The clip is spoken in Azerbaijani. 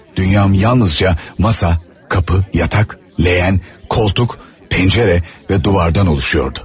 Dünyam yalnızca masa, qapı, yataq, lehyən, koltuk, pəncərə və duvardan oluşuyordu.